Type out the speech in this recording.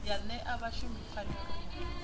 ya ṅea vhashumi pfanelo ya